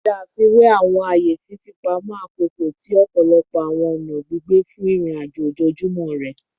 Ṣe afiwe awọn aaye fifipamọ akoko ti ọpọlọpọ awọn ọna gbigbe fun irin-ajo ojoojumọ rẹ